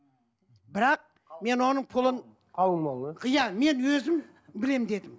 бірақ мен оның пұлын қалың мал да иә мен өзім білемін дедім